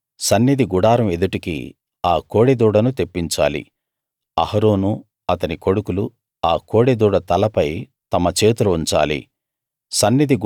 నువ్వు సన్నిధి గుడారం ఎదుటికి ఆ కోడెదూడను తెప్పించాలి అహరోను అతని కొడుకులు ఆ కోడెదూడ తలపై తమ చేతులు ఉంచాలి